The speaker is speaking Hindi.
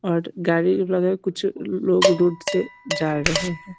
और गाड़ी लगे कुछ लोग रोड से जा रहे हैं |